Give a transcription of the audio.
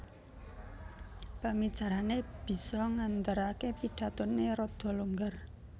Pemicarané bisa ngandharaké pidathoné rada longgar